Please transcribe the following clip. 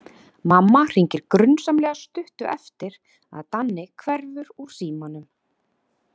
Mamma hringir grunsamlega stuttu eftir að Danni hverfur úr símanum.